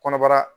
Kɔnɔbara